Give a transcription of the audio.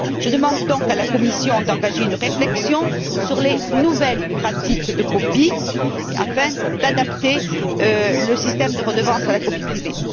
Je demande donc à la Commission d'engager une réflexion sur les nouvelles pratiques de copie, afin d'adapter le système de redevance pour copie privée.